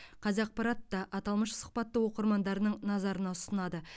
қазақпарат та аталмыш сұхбатты оқырмандарының назарына ұсынады